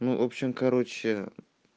ну в общем короче